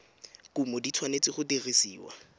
kumo di tshwanetse go dirisiwa